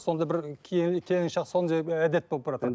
сондай бір әдет болып